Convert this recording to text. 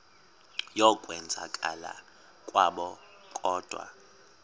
yokwenzakala kwabo kodwa